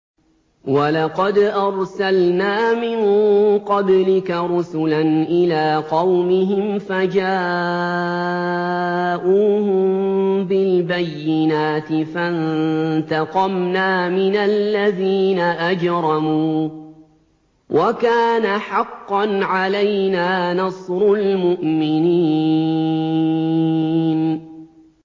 وَلَقَدْ أَرْسَلْنَا مِن قَبْلِكَ رُسُلًا إِلَىٰ قَوْمِهِمْ فَجَاءُوهُم بِالْبَيِّنَاتِ فَانتَقَمْنَا مِنَ الَّذِينَ أَجْرَمُوا ۖ وَكَانَ حَقًّا عَلَيْنَا نَصْرُ الْمُؤْمِنِينَ